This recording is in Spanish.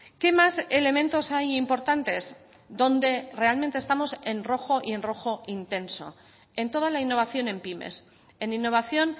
qué más elementos hay importantes donde realmente estamos en rojo y en rojo intenso en toda la innovación en pymes en innovación